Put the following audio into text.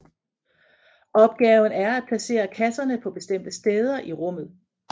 Opgaven er at placere kasserne på bestemte steder i rummet